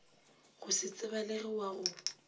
go se tsebalege wa go